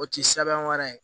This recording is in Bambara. O ti sɛbɛn wɛrɛ ye